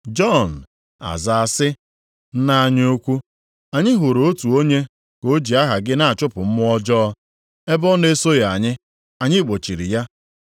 Jọn a zaa sị, “Nna anyị ukwu, anyị hụrụ otu onye ka o ji aha gị na-achụpụ mmụọ ọjọọ. Ebe ọ na-esoghị anyị, anyị gbochiri ya.”